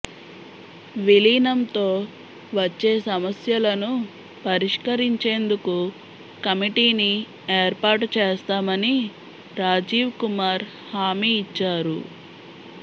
విలీనంతో వచ్చే సమస్యలను పరిష్కరించేందుకు కమిటీని ఏర్పాటు చేస్తామని రాజీవ్ కుమార్ హామీ ఇచ్చారు